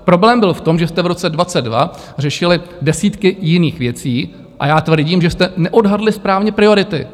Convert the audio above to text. Problém byl v tom, že jste v roce 2022 řešili desítky jiných věcí, a já tvrdím, že jste neodhadli správně priority.